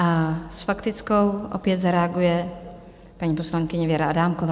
A s faktickou opět zareaguje paní poslankyně Věra Adámková.